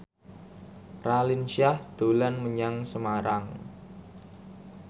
Raline Shah dolan menyang Semarang